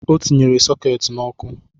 A tinyere sokeeti n’ọkụ